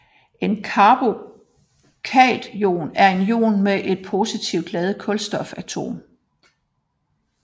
En carbokation er en ion med et positivt ladet kulstofatom